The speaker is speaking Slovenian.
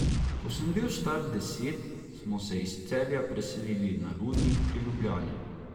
Ko sem bil star deset, smo se iz Celja preselili na Rudnik pri Ljubljani.